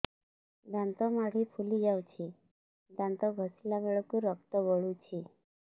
ଦାନ୍ତ ମାଢ଼ୀ ଫୁଲି ଯାଉଛି ଦାନ୍ତ ଘଷିଲା ବେଳକୁ ରକ୍ତ ଗଳୁଛି